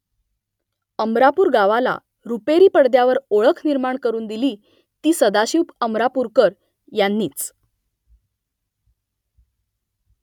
अमरापूर गावाला रुपेरी पडद्यावर ओळख निर्माण करून दिली ती सदाशिव अमरापूर यांनीच